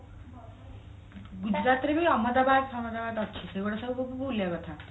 ଗୁଜୁରାତ ରେ ବି ଅହମଦାବାଦ ଆମର ଅଛି ସେଇଗୋଡା ସବୁ ଲୋକ ବୁଲିବା କଥା